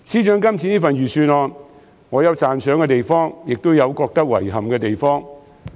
對於司長這份預算案，我有讚賞的地方，也有感到遺憾的地方。